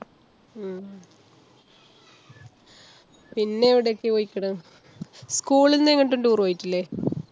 ഹും പിന്നെ എവിടൊക്കെ പോയ്ക്ക്ണ്? school ന്ന് എങ്ങട്ടും tour പോയിട്ടില്ല?